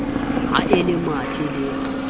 ha e le mathe le